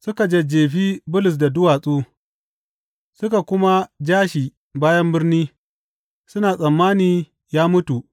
Suka jajjefi Bulus da duwatsu suka kuma ja shi bayan birni, suna tsammani ya mutu.